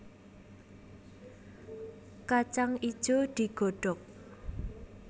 Kacang ijo digodhog